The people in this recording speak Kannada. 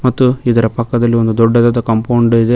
ಮತ್ತು ಇದರ ಪಕ್ಕದಲ್ಲಿ ಒಂದು ದೊಡ್ಡದಾದ ಕಾಂಪೌಂಡ್ ಇದೆ.